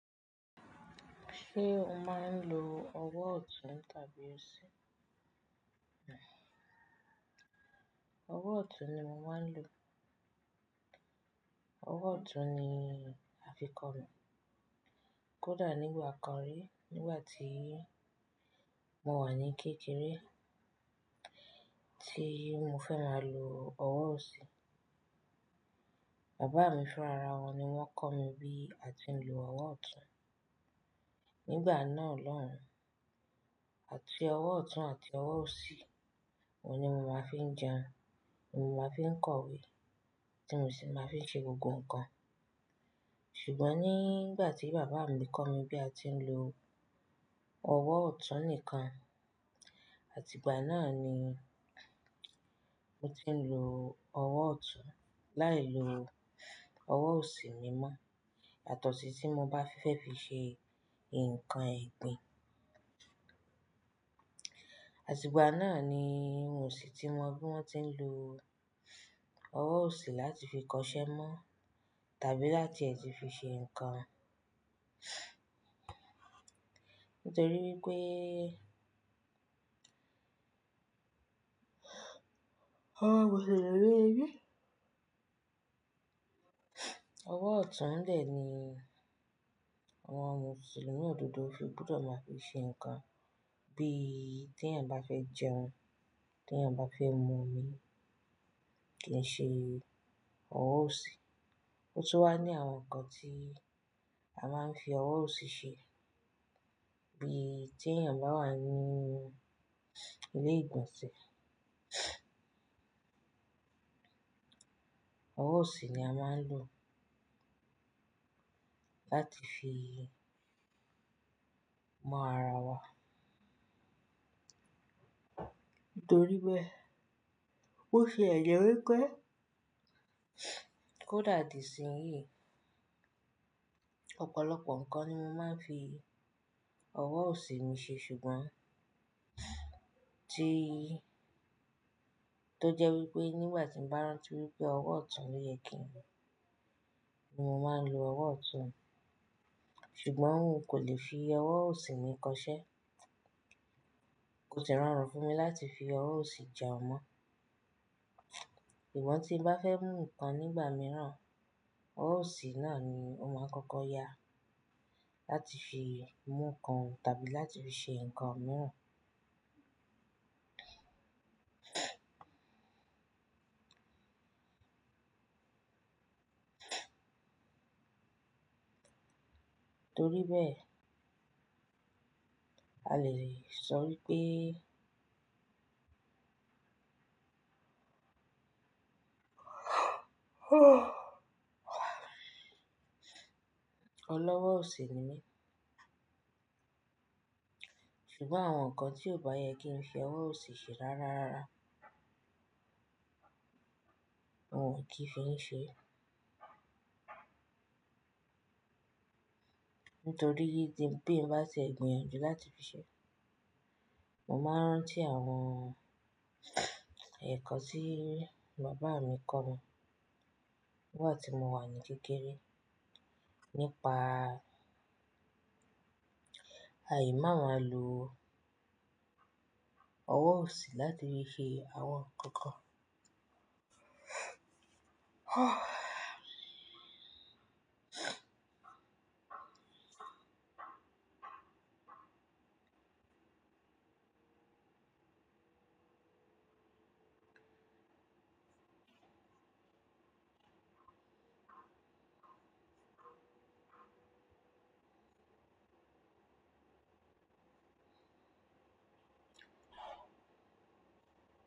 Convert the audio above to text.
Ṣé o máa ń lo ọwọ́ ọ̀tún tàbí òsì? Ọwọ́ ọ̀tún ni mo máa ń lo. Ọwọ́ ọ̀tún ni a fi kọ mi. Kódà nígbà kan rí nígbà tí mo wà ní kékeré tí mo fẹ́ máa lo ọwọ́ òsì, bàbá mi fúnra ra wọn ni wọ́n kọ́ mi bí a ti ń lo ọwọ́ ọ̀tún. Nígbà náà lọ́hùn, àti ọwọ́ ọ̀tún àti ọwọ́ òsì, òun ni mo máa fi ń jẹun, mo máa fi ń kọ ìwé tí mo sì máa fi ń ṣe gbogbo nǹkan. Ṣùgbọ́n nígbà tí bàbá mi kọ́ mi bí a ti ń lo ọwọ́ ọ̀tún nìkan, àtìgbà náà ni mo ti ń lo ọwọ́ ọ̀tún láì lo ọwọ́ òsì mi mọ́ yà tọ̀sí tí mo bá fẹ́ fi ṣe nǹkan ẹ̀gbin. Àtìgbà náà ni mio sì ti mọ bí wọ́n ti ń lo ọwọ́ òsì láti fi kọṣẹ́ mọ́ tàbí láti e ti fi ṣe ǹkan. Ọwọ́ ọ̀tún lè ní àwọn mùsùlùmí òdodo fi bùdọ̀ máa fi ṣe ǹkan bí tí èèyàn bá fẹ́ jẹun, tí èèyàn bá fẹ́ mú omi kì í ṣe ọwọ́ òsì. Ó tún wà ní àwọn ǹkan tí a máa ń fi ọwọ́ òsì ṣe bí tí èèyàn bá wà ní ilé ìgbọ̀nsẹ̀, ọwọ́ òsì ni a máa ń lò láti fi mọ ara wa. Nítorí bé bó tie jẹ wí pé kódà di ìsìn yìí, ọ̀pọ̀lọpọ̀ ǹkan ni mo máa ń fi ọwọ́ òsì mi ṣe ṣùgbọ́n tí, tó jẹ́ wí pé nígbà tí ń bá rántí wí pé ọwọ́ ọ̀tún ni oyè kín lo, mo máa ń lo ọwọ́ ọ̀tún. Ṣùgbọ́n n kò lè fi ọwọ́ òsì mi kọṣẹ́. Kò sì rọrùn fún mi láti fi ọwọ́ òsì jẹun mọ́. Sugbọ̀n tí n bá fẹ́ mú ǹkan nígbà mìíràn, ọwọ́ òsì náà ni ó máa ń kọ́kọ́ yá láti fi mú ǹkan tàbí láti fi ṣe ǹkan mìíràn. Nítorí bé a lè rí i ṣọ̀rí pé ọlọ́ ọwọ́ òsì ni mí. Ṣùgbọ́n àwọn ǹkan tí ó bá yẹ kí n fi ọwọ́ òsì ṣe rárára, n ò kí ń fi ṣe. Nítorí bí n bá tie gbin yàn jù láti fi ṣe, mo máa ń rántí àwọn ẹ̀kọ́ tí bàbá mi kọ mi nígbà tí mo wà ní kékeré nípa àì máa lò ọwọ́ òsì láti fi ṣe àwọn ǹkan.